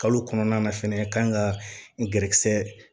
Kalo kɔnɔna na fɛnɛ kan ka gɛrɛ